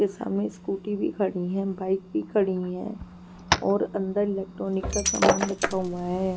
के सामने स्कूटी भी खड़ी है बाइक भी खड़ी है और अंदर इलेक्ट्रॉनिक का सामान रखा हुआ है.